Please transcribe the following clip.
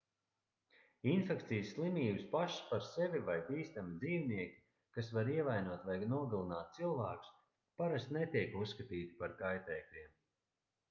infekcijas slimības pašas par sevi vai bīstami dzīvnieki kas var ievainot vai nogalināt cilvēkus parasti netiek uzskatīti par kaitēkļiem